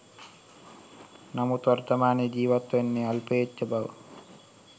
එනමුත් වර්තමානයේ ජීවත් වන්නේ අල්පේච්ඡ බව